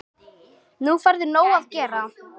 Nú færðu nóg að gera